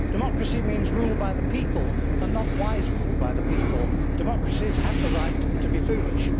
Democracy means rule by the people, and not wise rule by the people. Democracies have the right to be foolish.